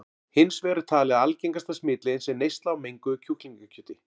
Hins vegar er talið að algengasta smitleiðin sé neysla á menguðu kjúklingakjöti.